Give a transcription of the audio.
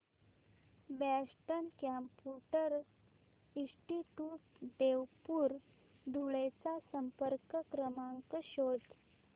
Boston computer institute Devpur Dhule चा संपर्क क्रमांक शोध